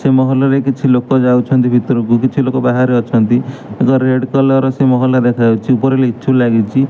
ସେମହଲରେ କିଛିଲୋକ ଯାଉଛନ୍ତି ଭିତରକୁ କିଛିଲୋକ ବାହାରେ ଅଛନ୍ତି ଆଗ ରେଡ କଲର ର ସେମହଲା ଦେଖାଯାଉଛି ଉପରେ ଲିଚୁ ଲାଗିଛି।